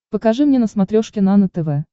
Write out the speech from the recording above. покажи мне на смотрешке нано тв